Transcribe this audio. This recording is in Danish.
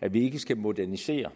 at vi ikke skal modernisere